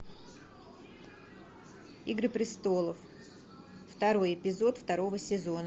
игры престолов второй эпизод второго сезона